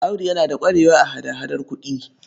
Audu yana da ƙwarewa a hada-hadar kuɗi.